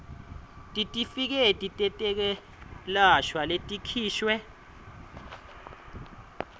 titifiketi tetekwelashwa letikhishwe